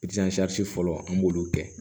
fɔlɔ an b'olu kɛ